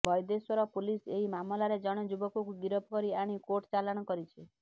Baideswar police ଏହି ମାମଲାରେ ଜଣେ ଯୁବକକୁ ଗିରଫ କରି ଆଣି କୋର୍ଟ ଚାଲାଣ କରିଛି